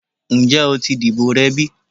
Njẹ o ti dibo rẹ bi?